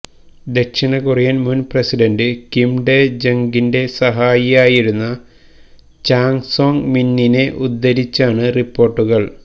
ദക്ഷിണ കൊറിയൻ മുൻ president Kim Dae ജംഗിന്റെ സഹായിയായിരുന്ന ചാങ് സോങ് മിന്നിനെ ഉദ്ധരിച്ചാണ് റിപ്പോർട്ടുകൾ